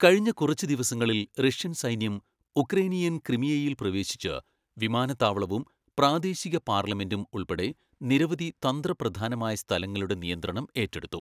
കഴിഞ്ഞ കുറച്ച് ദിവസങ്ങളിൽ, റഷ്യൻ സൈന്യം ഉക്രേനിയൻ ക്രിമിയയിൽ പ്രവേശിച്ച്, വിമാനത്താവളവും പ്രാദേശിക പാർലമെന്റും ഉൾപ്പെടെ നിരവധി തന്ത്രപ്രധാനമായ സ്ഥലങ്ങളുടെ നിയന്ത്രണം ഏറ്റെടുത്തു.